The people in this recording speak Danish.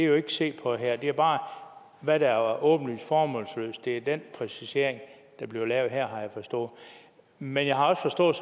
jo ikke set på her det er bare hvad der er åbenlyst formålsløst det er den præcisering der bliver lavet her har jeg forstået men jeg har også forstået